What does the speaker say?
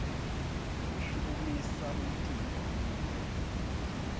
ushukumisa umtimba kute